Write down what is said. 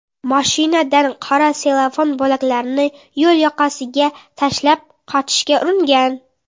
mashinadan qora sellofan bo‘laklarini yo‘l yoqasiga tashlab qochishga uringan.